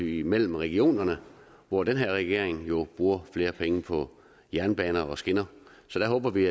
imellem regionerne hvor den her regering jo bruger flere penge på jernbaner og skinner så der håber vi